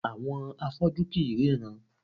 Àwọn afọ́jú kì í ríran